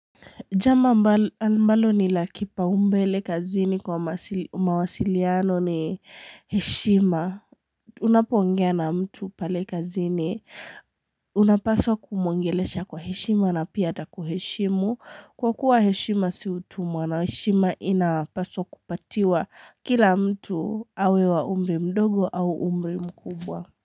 Jambo ambalo ni la kipaumbele kazini kwa mawasiliano ni heshima. Unapo ongea na mtu pale kazini. Unapaswa kumuongelesha kwa heshima na pia ataku heshimu. Kwa kuwa heshima si utumwa na heshima inapaswa kupatiwa kila mtu, awe wa umri mdogo au umri mkubwa.